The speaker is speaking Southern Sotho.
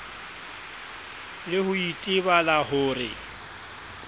le ho itebala ho re